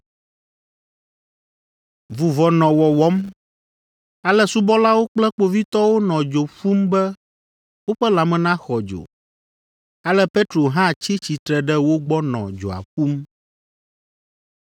Vuvɔ nɔ wɔwɔm, ale subɔlawo kple kpovitɔwo nɔ dzo ƒum be woƒe lãme naxɔ dzo. Ale Petro hã tsi tsitre ɖe wo gbɔ nɔ dzoa ƒum.